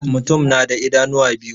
Mutum na da idanuwa biyu.